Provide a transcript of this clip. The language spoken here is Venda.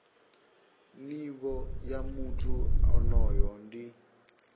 nivho ya muthu onoyo ndi